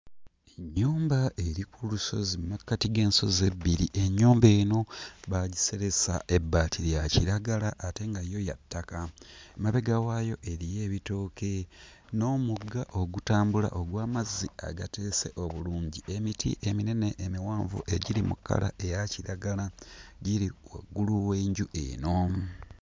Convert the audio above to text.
Ennyumba eri ku lusozi mmakkati g'ensozi ebbiri ennyumba eno baagiseresa ebbaati lya kiragala ate nga yo ya ttaka mabega waayo eriyo ebitooke n'omugga ogutambula ogw'amazzi agateese obulungi emiti eminene emiwanvu egiri mu kkala eya kiragala giri waggulu w'enju eno.